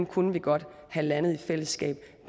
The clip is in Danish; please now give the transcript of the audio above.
kunne vi godt have landet i fællesskab